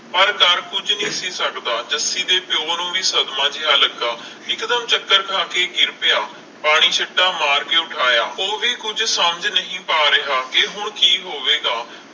ਪਰ ਕਰ ਕੁਛ ਨਹੀਂ ਸੀ ਸਕਦਾ ਜੱਸੀ ਦੇ ਪਿਓ ਨੂੰ ਵੀ ਸਦਮਾ ਜਿਹਾ ਲਗਾ ਇਕਦਮ ਚੱਕਰ ਖਾ ਕੇ ਗਿਰ ਪਿਆ ਪਾਣੀ ਸ਼ੀਟਾਂ ਮਾਰ ਕੇ ਉਠਾਇਆ ਉਹ ਵੀ ਕੁਝ ਸਮਝ ਨਹੀਂ ਪਾ ਰਿਹਾ ਕਿ ਹੁਣ ਕਿ ਹੋਵੇਗਾ